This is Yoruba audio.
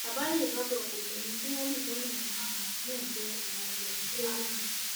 àbárèbábọ kokéènì tí wọn dì sọnà mẹrin náà jẹ ìwọn ẹgbẹrin kilogram